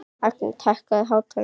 Agneta, hækkaðu í hátalaranum.